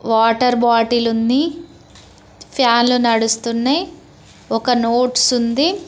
Water bottle ఉంది ఫ్యాన్లు నడుస్తున్నయ్ ఒక నోట్స్ ఉంది.